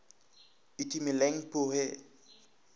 itumeleng pooe